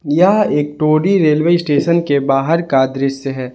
यह एक Tori railway station के बाहर का दृश्य है।